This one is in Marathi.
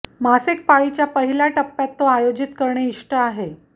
मासिक पाळीच्या पहिल्या टप्प्यात तो आयोजित करणे इष्ट आहे